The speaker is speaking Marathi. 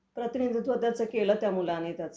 प्रतिनिधित्व तुम्ही त्याचं केलंत त्या मुलानी त्याचं.